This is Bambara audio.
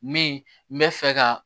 Min bɛ fɛ ka